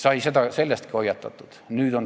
Sai ka selle eest hoiatatud.